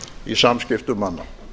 í samskiptum manna